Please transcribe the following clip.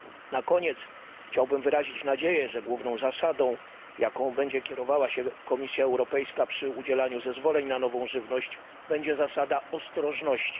Na koniec chciałbym wyrazić nadzieję, że główną zasadą, jaką będzie kierowała się Komisja Europejska przy udzielaniu zezwoleń na nową żywność, będzie zasada ostrożności.